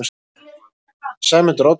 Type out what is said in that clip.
Sæmundur Oddsson